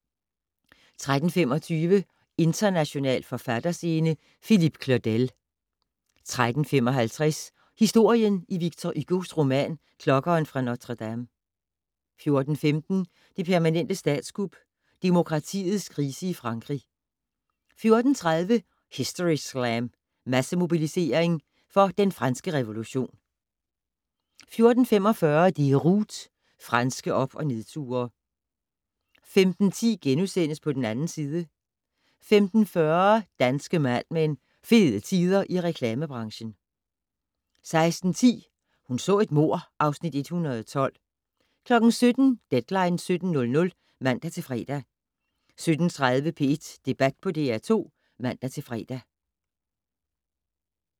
13:25: International forfatterscene - Philippe Claudel 13:55: Historien i Victor Hugos roman "Klokkeren fra Notre-Dame" 14:15: "Det permanente statskup" - demokratiets krise i Frankrig 14:30: Historyslam - Massemobilisering for den franske revolution 14:45: Déroute - franske op- og nedture 15:10: På den 2. side * 15:40: Danske Mad Men: Fede tider i reklamebranchen 16:10: Hun så et mord (Afs. 112) 17:00: Deadline 17.00 (man-fre) 17:30: P1 Debat på DR2 (man-fre)